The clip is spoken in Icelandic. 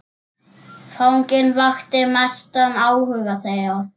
Fanginn vakti mestan áhuga þeirra.